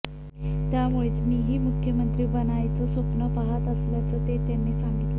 त्यामुळेच मीही मुख्यमंत्री बनण्याचं स्वप्न पाहात असल्याचं ते त्यांनी सांगितलं